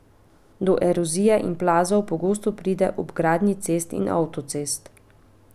Do erozije in plazov pogosto pride ob gradnji cest in avtocest.